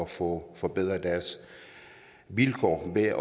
få forbedret deres vilkår ved at